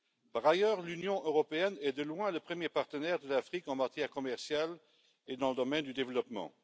Par ailleurs, l'Union européenne est de loin le premier partenaire de l'Afrique en matière commerciale et dans le domaine du développement.